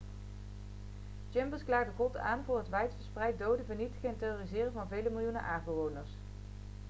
chambers klaagde god aan voor het wijdverspreid doden vernietigen en terroriseren van vele miljoenen aardbewoners'